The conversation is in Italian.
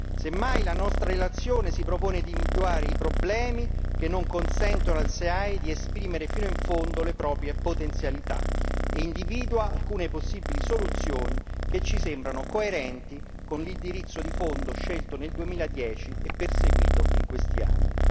Se mai la nostra relazione si propone di individuare i problemi che non consentono al SEAE di esprimere fino in fondo le proprie potenzialità e individua alcune possibili soluzioni che ci sembrano coerenti con l'indirizzo di fondo scelto nel 2010 e perseguito in questi anni.